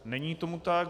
Není tomu tak.